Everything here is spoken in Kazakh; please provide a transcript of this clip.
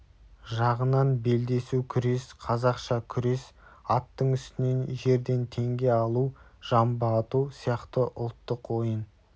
жағынан белдесу күрес қазақша күрес аттың үстінен жерден теңге алу жамбы ату сияқты ұлттық ойын